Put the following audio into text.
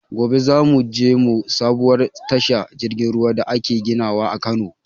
Gobe za mu je mu ga sabuwar tashar jirgin ruwan da ake ginawa a Kano